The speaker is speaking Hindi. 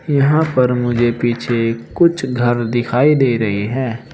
यहां पर मुझे पीछे कुछ घर दिखाई दे रही है।